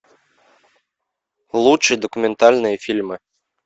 лучшие документальные фильмы